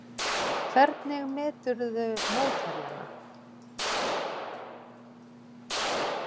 Hvernig meturðu mótherjana?